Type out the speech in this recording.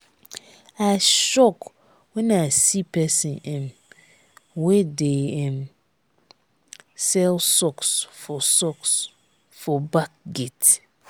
i shock wen i see person um wey dey um sell socks for socks for back gate.